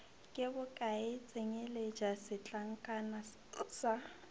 ke bokae tsenyeletša setlankana sa